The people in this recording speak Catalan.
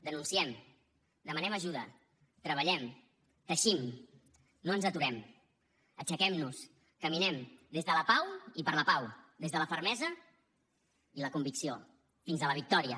denunciem demanem ajuda treballem teixim no ens aturem aixequem nos caminem des de la pau i per la pau des de la fermesa i la convicció fins a la victòria